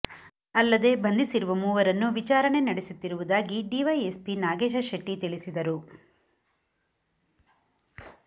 ಅಲ್ಲದೆ ಬಂಧಿಸಿರುವ ಮೂವರನ್ನು ವಿಚಾರಣೆ ನಡೆಸುತ್ತಿರುವುದಾಗಿ ಡಿವೈಎಸ್ಪಿ ನಾಗೇಶ ಶೆಟ್ಟಿ ತಿಳಿಸಿದರು